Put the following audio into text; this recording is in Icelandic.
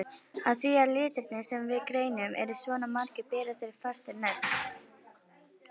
Af því að litirnir sem við greinum eru svona margir bera þeir fæstir nöfn.